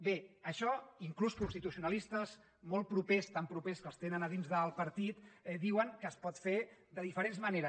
bé això inclús constitucionalistes molt propers tan propers que els tenen dins del partit diuen que es pot fer de diferents maneres